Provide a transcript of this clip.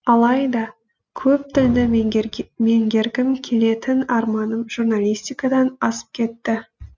алайда көп тілді меңгергім келетін арманым журналистикадан асып кетті